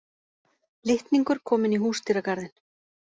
Litningur kominn í húsdýragarðinn